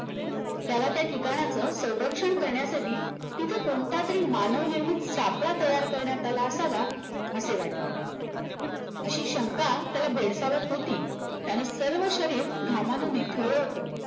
त्याला त्या ठिकाणाचा संरक्षण करण्यासाठी तिथे कोणता तरी मानव निर्मित सापडा तयार करण्यात आला असावा असे वाटले अशी शंका त्याला भेडसावत होती त्यानं सर्व शरीर घामाने निथळलं होतं